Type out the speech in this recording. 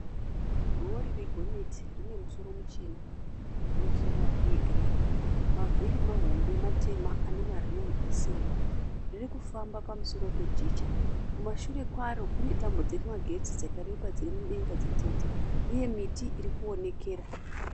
Rori regonyeti rine musoro muchena ne tirera yegireyi mavhiri mahombe matema ane marimu esirivha riri kufamba pamusoro pejecha kumashure kwaro kune tambo dzemagetsi dzakareba dziri mudenga dzitete uye miti iri kuonekera.